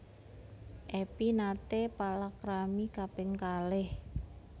Epy naté palakrami kaping kalih